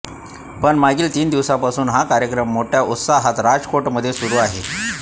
पण मागील तीन दिवसांपासून हा कार्यक्रम मोठ्या उत्साहात राजकोटमध्ये सुरू आहे